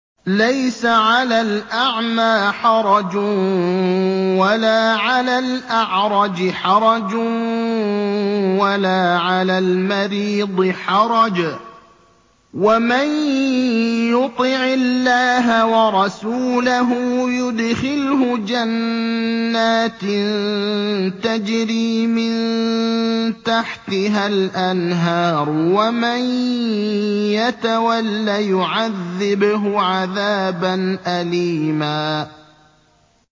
لَّيْسَ عَلَى الْأَعْمَىٰ حَرَجٌ وَلَا عَلَى الْأَعْرَجِ حَرَجٌ وَلَا عَلَى الْمَرِيضِ حَرَجٌ ۗ وَمَن يُطِعِ اللَّهَ وَرَسُولَهُ يُدْخِلْهُ جَنَّاتٍ تَجْرِي مِن تَحْتِهَا الْأَنْهَارُ ۖ وَمَن يَتَوَلَّ يُعَذِّبْهُ عَذَابًا أَلِيمًا